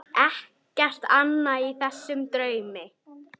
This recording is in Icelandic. Ekkert annað í þessum draumi.